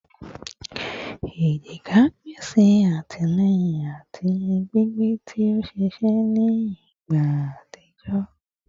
ejika pese atilẹyin ati gbigbe ti o ṣiṣẹ ni igba atijọ